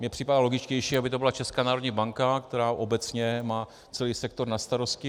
Mně připadá logičtější, aby to byla Česká národní banka, která obecně má celý sektor na starosti.